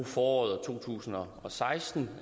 foråret to tusind og og seksten